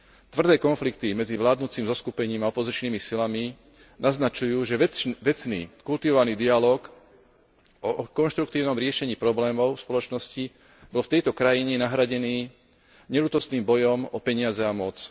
Tvrdé konflikty medzi vládnucim zoskupením a opozičnými silami naznačujú, že vecný, kultivovaný dialóg o konštruktívnom riešení problémov spoločnosti bol v tejto krajine nahradený neľútostným bojom o peniaze a moc.